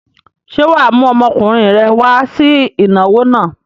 Ṣé wà á mú ọmọkùnrin rẹ wá sí ìnáwó náà?